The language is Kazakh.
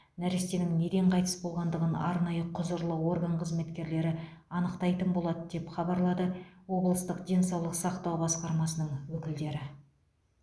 нәрестенің неден қайтыс болғандығын арнайы құзырлы орган қызметкерлері анықтайтын болады деп хабарлады облыстық денсаулық сақтау басқармасының өкілдері